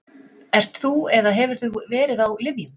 Ert þú eða hefur þú verið á lyfjum?